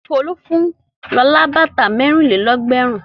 Folú fún Lọlá bàtà mẹ́rin-lé-ẹgbẹ̀rún.